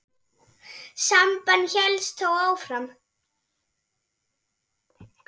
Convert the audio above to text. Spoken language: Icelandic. Samband hélst þó áfram.